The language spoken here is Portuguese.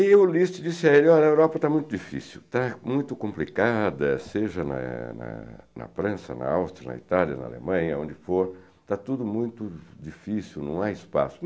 E o Liszt disse a ele, olha, a Europa está muito difícil, está muito complicada, seja na na na França, na Áustria, na Itália, na Alemanha, onde for, está tudo muito difícil, não há espaço.